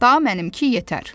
Daha mənimki yetər.